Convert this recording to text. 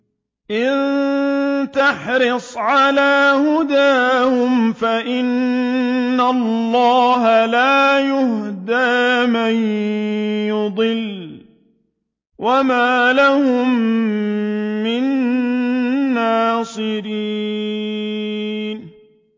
إِن تَحْرِصْ عَلَىٰ هُدَاهُمْ فَإِنَّ اللَّهَ لَا يَهْدِي مَن يُضِلُّ ۖ وَمَا لَهُم مِّن نَّاصِرِينَ